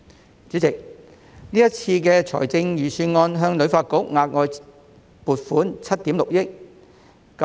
代理主席，今次預算案向旅發局額外撥款7億 6,000 萬元。